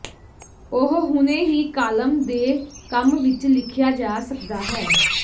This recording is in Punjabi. ਉਹ ਹੁਣੇ ਹੀ ਕਾਲਮ ਦੇ ਕੰਮ ਵਿਚ ਲਿਖਿਆ ਜਾ ਸਕਦਾ ਹੈ